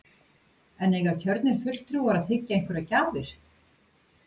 En eiga kjörnir fulltrúar að þiggja einhverjar gjafir?